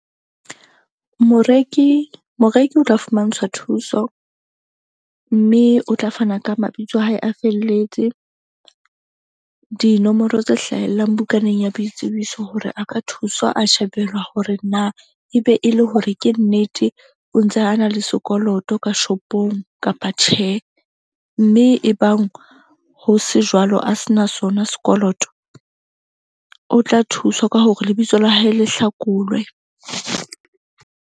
Moreki o tla fumantshwa thuso mme o tla fana ka mabitso a hae a felletse, dinomoro tse hlahellang bukaneng ya boitsebiso hore a ka thuswa a shebelwa hore na e be e le hore ke nnete o ntse a na le sekoloto ka shop-ong kapa tjhe. Mme ebang ho se jwalo a se na sona sekoloto o tla thuswa ka hore lebitso la hae le hlakolwe.